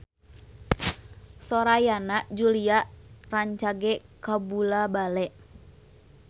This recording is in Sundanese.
Sora Yana Julio rancage kabula-bale